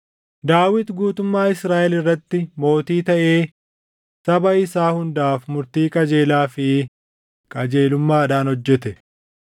Daawit guutummaa Israaʼel irratti mootii taʼee saba isaa hundaaf murtii qajeelaa fi qajeelummaadhaan hojjete.